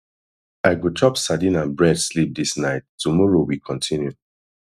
i go chop sadin and bread sleep dis night tomorrow we continue